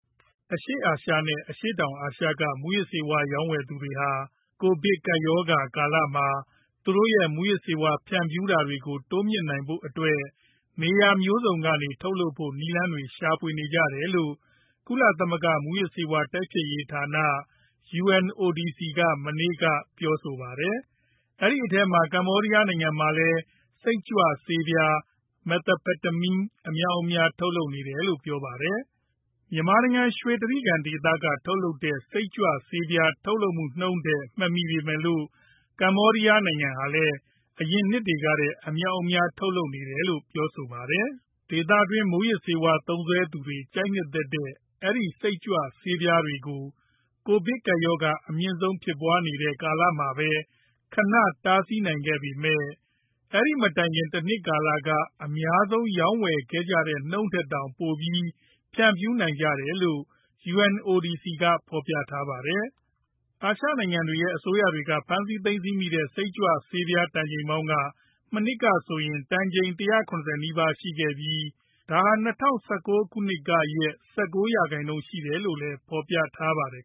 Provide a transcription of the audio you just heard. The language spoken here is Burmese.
အရှေ့အာရှ နဲ့ အရှေ့တောင်အာရှက မူးယစ်ဆေးဝါး ရောင်းဝယ်သူတွေဟာ ကိုဗစ်ကပ်ရောဂါ ကာလမှာ သူတို့ရဲ့ မူးယစ်ဆေးဝါး ဖြန့်ဖြူးမှုတွေကို တိုးမြှင့်ဖို့အတွက် နေရာမျိုးစုံကနေ ထုတ်လုပ်ဖို့ နည်းလမ်းတွေရှာဖွေနေကြပါတယ်လို့ ကုလသမဂ္ဂမူးယစ်ဆေးဝါး တိုက်ဖျက်ရေးဌာန UNODC က မနေ့က ပြောပါတယ်။ အဲဒီလိုအထဲမှာ ကမ္ဘောဒီယားနိုင်ငံမှာလည်း စိတ်ကြွဆေးပြား Methamphetamine အမြောက်အများ ထုတ်လုပ်နေတယ်လို့ပြောပါတယ်။ မြန်မာနိုင်ငံ ရွှေတြိဂံဒေသက စိတ်ကြွဆေးပြားထုတ်လုပ်မူနှုန်းကို မမှီပေမဲ့ ဒေသတွင်းမှာ ကမ္ဘောဒီယားနိုင်ငံရဲ့ ထုတ်လပ်မှုဟာလည်း အရင်ကထက် များပြားလာပါတယ်။ ဒေသတွင်း မူးယစ်ဆေးသုံးစွဲသူတွေက ကြိုက်နှစ်သက်တဲ့ အဲဒီ စိတ်ကြွဆေးပြားတွေကို ကိုဗစ်ကပ်ရောဂါအမြင့်ဆုံးဖြစ်ပွားနေတဲ့ ကာလမှာပဲ ခဏတားဆီးနိုင်ခဲ့ပေမဲ့ အဲဒီမတိုင်ခင် တနှစ်ကာလကအများဆုံးရောင်းဝယ်ခဲ့ကြတဲ့နှုန်းထက် ပိုပြီးတောင်မှ ဖြန့်ဖြူးနေကြတယ်လို့လည်း UNODC မှာ ဖော်ပြထားပါတယ်။ အာရှနိုင်ငံတွေရဲ့ အစိုးရတွေက ဖမ်းဆီးသိမ်းဆည်းမိတဲ့ စိတ်ကြွဆေးပြားတန်ချိန်ပေါင်းက မနှစ်ကဆိုရင် ၁၇ဝနီးပါးရှိပြီး ဒါဟာ ၂ဝ၁၉ခုနှစ်ကရဲ့ ၁၉ ရာခိုင်နှုန်းရှိတယ်လို့လည်း ဖော်ပြထားပါတယ်